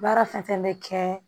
Baara fɛn fɛn bɛ kɛ